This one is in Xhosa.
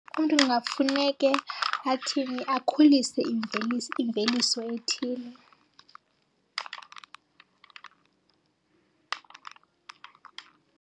Umntu kungafuneke athini, akhulise imveliso ethile.